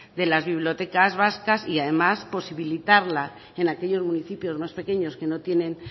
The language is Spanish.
de las bibliotecas vascas y además posibilitarla en aquellos municipios más pequeños que no tienen